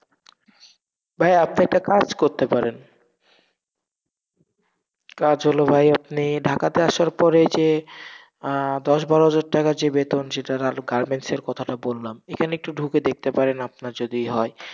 ভাইয়া আপনি একটা কাজ করতে পারেন, কাজ হলো ভাই, আপনি ঢাকাতে আসার পরে যে আহ দশ বারো হাজার টাকার যে বেতন সেটা না হলেও garments এর কথা টা বললাম, এখানে একটু ঢুকে দেখতে পারেন, আপনার যদি হয়,